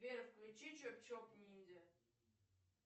сбер включи чоп чоп ниндзя